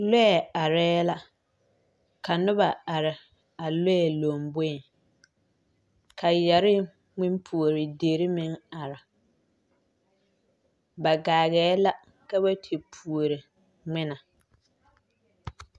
Lɔɛ areɛɛ la ka noba are a lɔɛ lomboeŋ ka yɛrre ngmen puore derre meŋ are ba gaageela ka ba te puore ngmene.